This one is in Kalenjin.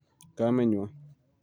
kametnywa